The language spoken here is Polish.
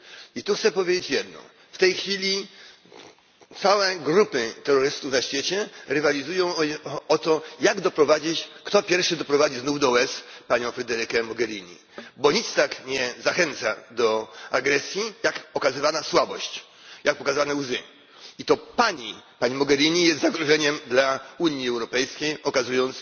I tu chcę powiedzieć jedno w tej chwili całe grupy terrorystów na świecie rywalizują o to, kto pierwszy doprowadzi znów do łez panią Federikę Mogherini, bo nic tak nie zachęca do agresji, jak pokazywana słabość, jak pokazane łzy. I to Pani, Pani Mogherini, jest zagrożeniem dla Unii Europejskiej, okazując